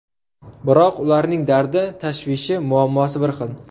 Biroq ularning dardi, tashvishi, muammosi bir xil.